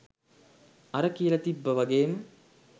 අර කියල තිබ්බ වගේම